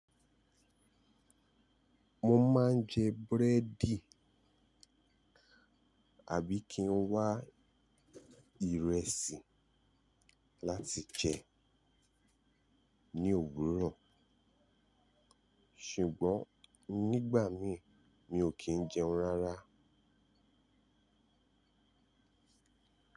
Mo máa ń jẹ búrẹ́dì àbí kí n wá ìrẹsì láti jẹ ní òwúrọ̀, ṣùgbọ́n nígbà mí mi ò kì í jẹun rárá.